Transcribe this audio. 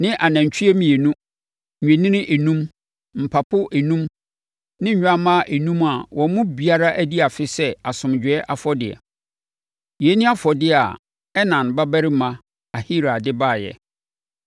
ne anantwie mmienu, nnwennini enum, mpapo enum ne nnwammaa enum a wɔn mu biara adi afe sɛ asomdwoeɛ afɔdeɛ. Yei ne afɔdeɛ a Enan babarima Ahira de baeɛ.